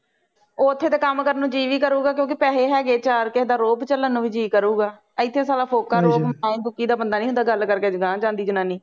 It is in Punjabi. ਓਥੇ ਤੇ ਕੰਮ ਕਰਨ ਨੂੰ ਜੀਅ ਵੀ ਕਰੂਗਾ ਕਿਉਂਕਿ ਪੈਹੇ ਹੈਗੇ ਚਾਰ ਕੇਹੇ ਦਾ ਰੌਬ ਚੱਲਣ ਵੀ ਜੀਅ ਕਰੂਗਾ ਇਥੇ ਸਾਲਾ ਫੋਕਾ ਰੌਬ ਦੂਕੀ ਦਾ ਬੰਦਾ ਨਹੀਂ ਹੁੰਦਾ ਗੱਲ ਕਰਕੇ ਗਾਹ ਜਾਂਦੀ ਜਨਾਨੀ